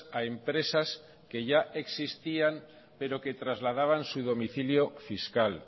a empresas que ya existían pero que trasladaban su domicilio fiscal